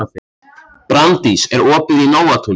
Brandís, er opið í Nóatúni?